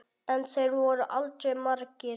En þeir voru aldrei margir.